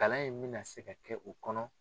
Kalan in mi na se ka kɛ u kɔnɔ.